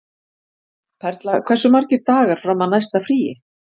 Perla, hversu margir dagar fram að næsta fríi?